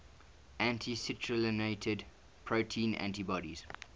anti citrullinated protein antibodies